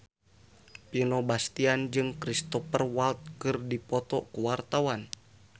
Vino Bastian jeung Cristhoper Waltz keur dipoto ku wartawan